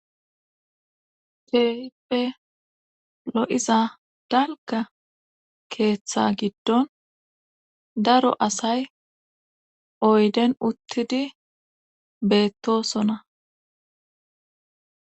Kehippe lo7iza dalga keeththa giddon daro asay oyden uttidi beettosona